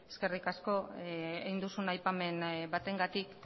eskerrik asko egin duzun aipamen batengatik